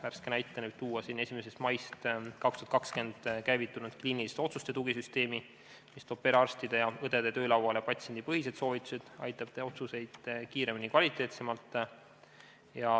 Värske näitena võib tuua 1. maist 2020 käivitunud kliiniliste otsuste tugisüsteemi, mis toob perearstide ja -õdede töölauale patsiendipõhised soovitused ning aitab teha otsuseid kiiremini ja kvaliteetsemalt.